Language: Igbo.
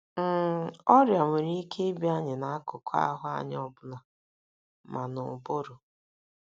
n! Ọrịa nwere ike ịbịa anyị n’akụkụ ahụ́ anyị ọ bụla, ma n’ụbụrụ.